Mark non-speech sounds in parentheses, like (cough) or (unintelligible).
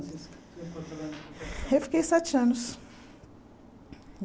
(unintelligible) Eu fiquei sete anos.